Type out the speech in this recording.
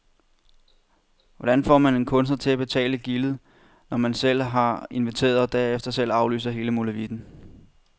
Hvordan får man en kunstner til at betale gildet, når man selv har inviteret og derefter selv aflyser hele molevitten.